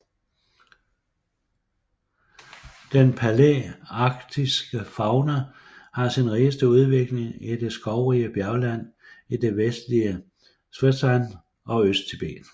Den palæarktiske fauna har sin rigeste udvikling i det skovrige bjergland i det vestlige Szetshwan og Østtibet